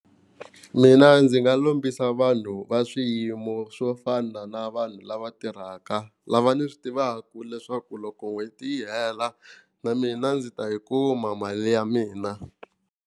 Mina ndzi nga lombisa vanhu va swiyimo swo fana na vanhu lava tirhaka, lava ni swi tivaka leswaku loko n'hweti yi hela na mina ndzi ta yi kuma mali ya mina.